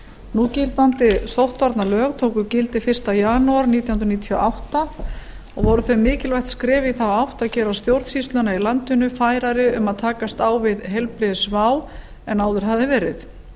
núgildandi sóttvarnalög tóku gildi fyrsta janúar nítján hundruð níutíu og átta og voru þau mikilvægt skref í þá átt að gera stjórnsýsluna í landinu færari um að takast á við heilbrigðisvá en áður hafði verið